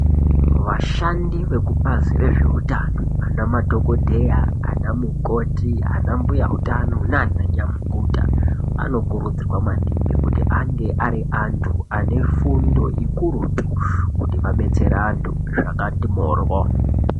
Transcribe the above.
Vashandi vekubazi rezveutano ana madhokodheya ana mukoti ana mbuya nana nyamukuta anokurudzirwa maningi kuti ange ari antu ane fundo ikurutu kuti vabetsere vantu zvakati moryo.